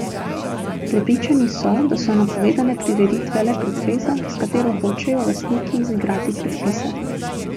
Prepričani so, da so napovedane prireditve le pretveza, s katero hočejo lastniki izigrati predpise.